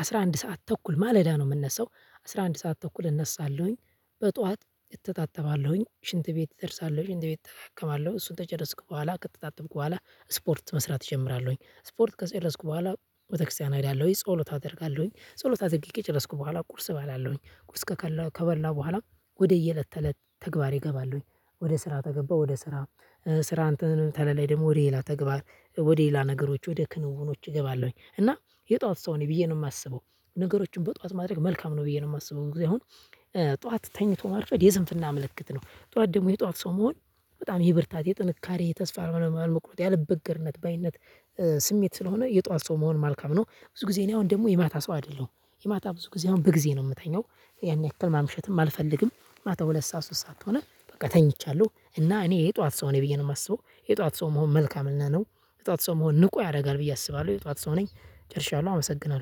አስራ አንድ ሰዓት ተኩል ማለዳ ነው የምነሳው። አስራ አንድ ሰዓት ተኩል እነሳለሁኝ በጧት እተጣጠባለሁኝ ሽንት ቤት እደርሳለሁ ሽንት ቤት እጠቀማለሁ እሱን ከጨረስኩ በኋላ ከተጣጠብኩ በኋላ ስፖርት መስራት እጀምራለሁኝ። ስፖርት ከጨረስኩ በኋላ ቤተክርስቲያን እሄዳለሁኝ ጸሎት አደርጋለሁኝ። ጸሎት አድርጌ ከጨረስኩ በኃላ ቁርስ እበላለሁኝ። ቁርስ ከበላሁ በኃላ ወደየእለት ተእለት ተግባሬ እገባለሁኝ። ወደ ስራ ከገባሁኝ ወደ ስራ ስራ እንትን ተለለኝ ደግሞ ወደ ሌላ ተግባር ወደ ሌላ ነገሮች ወደ ክንውኖች እገባለሁኝ እና የጧት ሰው ነኝ ብዬ ነው የማስበው። ነገሮችን በጧት ማድረግ መልካም ነው ብዬ ነው የማስበው። እንግዲህ አሁን ጠዋት ተኝቶ ማርፈድ የስንፍና ምልክት ነው ጠዋት ደግሞ የጠዋት ሰው መሆን በጣም የብርታት የጥንካሬ ተስፋ ያለመቁረጥ ያለ በገርነት ባይነት ስሜት ስለሆነ የጧት ሰው መሆን መልካም ነው። ብዙ ጊዜ እኔ አሁን ደግሞ የማታ ሰው አይደለሁም። የማታ ብዙ ጊዜ አሁን በጊዜ ነው የምተኛው። ያን ያክል ማምሸትም አልፈልግም። ማታ ሁለት ሰዓት ሶስት ሰዓት ሆነ በቃ ተኝቻለሁ። እና እኔ የጠዋት ሰው ነኝ ብዬ ነው የማስበው። የጠዋት ሰው መሆን መልካምና ነው። የጧት ሰው መሆን ንቁ ያደርጋል ብዬ አስባለሁ። የጧት ሰው ነኝ ጨርሻለሁ አመሰግናለሁ